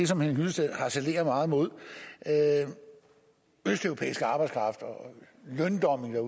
som henning hyllested harcelerer meget imod altså østeuropæisk arbejdskraft og løndumping når